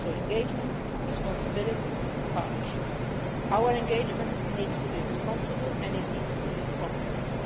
Engagement, responsibility and partnership our engagement needs to be responsible and it needs to be cooperative.